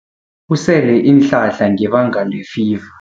Usele iinhlahla ngebanga lefiva.